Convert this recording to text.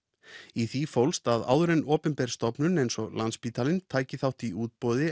í því fólst að áður en opinber stofnun eins og Landspítalinn tæki þátt í útboði